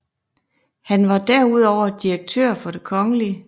Han var derudover direktør for Det Kgl